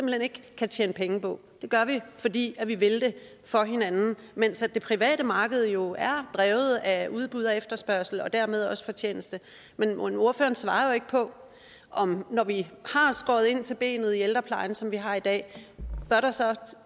hen ikke kan tjene penge på det gør vi fordi vi vil det for hinanden mens det private marked jo er drevet af udbud og efterspørgsel og dermed også fortjeneste men ordføreren svarer jo ikke på om når vi har skåret ind til benet i ældreplejen som vi har i dag så